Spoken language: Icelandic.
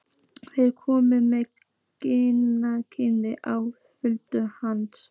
Þeir komu með Gunnhildi á fund hans.